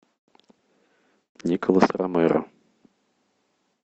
николас ромеро